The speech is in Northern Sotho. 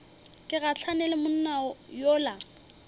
ke gahlane le monna yola